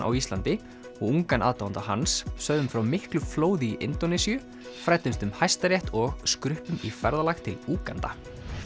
á Íslandi og ungan aðdáanda hans sögðum frá miklu flóði í Indónesíu fræddumst um Hæstarétt og skruppum í ferðalag til Úganda